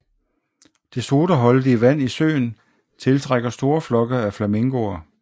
Det sodaholdige vand i søen tiltrækker store flokke af flamingoer